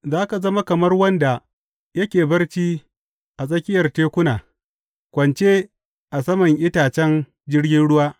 Za ka zama kamar wanda yake barci a tsakiyar tekuna, kwance a sama itacen jirgin ruwa.